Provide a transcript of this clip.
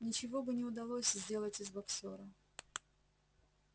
ничего бы не удалось сделать из боксёра